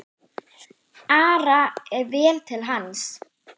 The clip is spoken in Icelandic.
Ara er vel til hans.